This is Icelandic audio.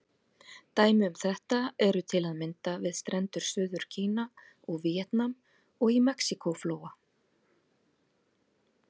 Dæmi um þetta eru til að mynda við strendur Suður-Kína og Víetnam, og í Mexíkó-flóa.